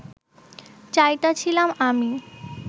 চাইতাছিলাম আমি